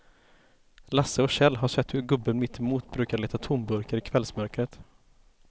Lasse och Kjell har sett hur gubben mittemot brukar leta tomburkar i kvällsmörkret.